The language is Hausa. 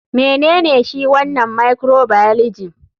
Menene shi wanan microbioligy?